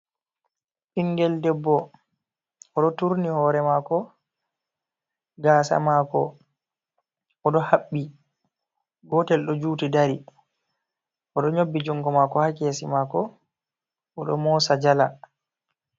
Ɓingel debbo oɗo turni hore mako gasa maako oɗo haɓɓi, gotel ɗo juti dari oɗo nyobbi jungo mako ha kesi mako oɗo mosa jala.